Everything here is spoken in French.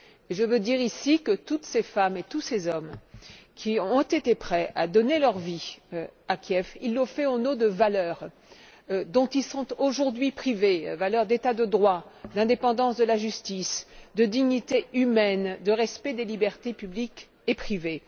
Je tiens à dire ici que toutes ces femmes et tous ces hommes, qui ont été prêts à donner leur vie à Kiev, l'ont fait au nom de valeurs dont ils sont aujourd'hui privés les valeurs d'État de droit, d'indépendance de la justice, de dignité humaine et de respect des libertés publiques et privées.